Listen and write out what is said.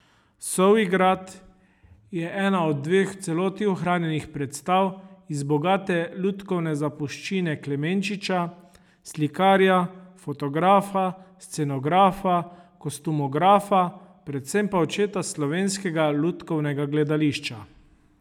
Sovji grad je ena od dveh v celoti ohranjenih predstav iz bogate lutkovne zapuščine Klemenčiča, slikarja, fotografa, scenografa, kostumografa, predvsem pa očeta slovenskega lutkovnega gledališča.